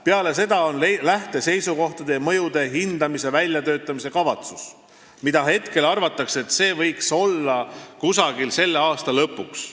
Peale seda koostatakse lähteseisukohad ja mõjude hindamise väljatöötamiskavatsus, mille kohta hetkel arvatakse, et see võiks toimuda selle aasta lõpuks.